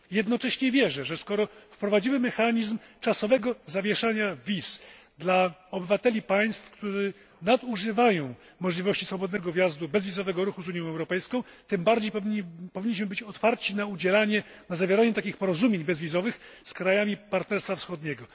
Jednocześnie wierzę, że skoro wprowadzimy mechanizm czasowego zawieszania wiz dla obywateli państw, którzy nadużywają możliwości swobodnego wjazdu, bezwizowego ruchu z Unią Europejską, tym bardziej powinniśmy być otwarci na zawieranie takich porozumień bezwizowych z krajami Partnerstwa Wschodniego.